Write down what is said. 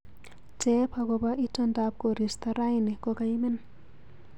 Teep agoba itondab koristo raini kogaimen